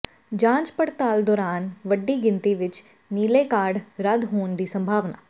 ਜਾਂਚ ਪੜਤਾਲ ਦੌਰਾਨ ਵੱਡੀ ਗਿਣਤੀ ਵਿਚ ਨੀਲੇ ਕਾਰਡ ਰੱਦ ਹੋਣ ਦੀ ਸੰਭਾਵਨਾ